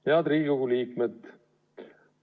Head Riigikogu liikmed!